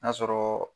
N'a sɔrɔ